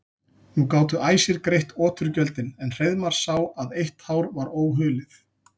Nú gátu æsir greitt oturgjöldin en Hreiðmar sá að eitt hár var óhulið.